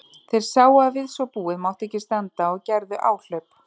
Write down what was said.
Þeir sáu að við svo búið mátti ekki standa og gerðu áhlaup.